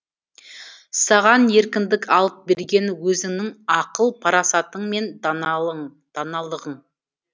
саған еркіндік алып берген өзіңнің ақыл парасатың мен даналы ғың